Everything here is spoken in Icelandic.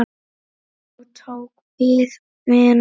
Þá tók við vinna.